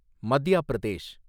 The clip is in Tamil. மத்யா பிரதேஷ்